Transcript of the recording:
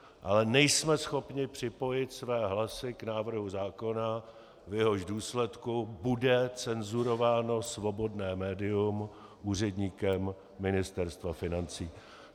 Ale nejsme schopni připojit své hlasy k návrhu zákona, v jehož důsledku bude cenzurováno svobodné médium úředníkem Ministerstva financí.